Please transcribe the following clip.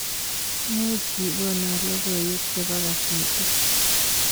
Muuch igono logoywek chebo kasetit